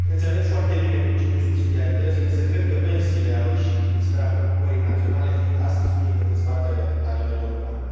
Înțeleg foarte bine principiul subsidiarității, însă cred că pensiile au ieșit din sfera preocupării naționale fiind astăzi subiect de dezbatere la nivel european.